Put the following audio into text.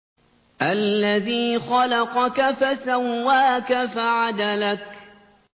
الَّذِي خَلَقَكَ فَسَوَّاكَ فَعَدَلَكَ